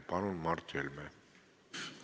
Palun, Mart Helme!